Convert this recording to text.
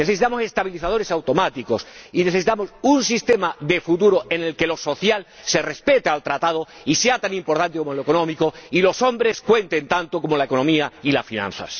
necesitamos estabilizadores automáticos y necesitamos un sistema de futuro en el que lo social respete el Tratado y sea tan importante como lo económico y los hombres cuenten tanto como la economía y las finanzas.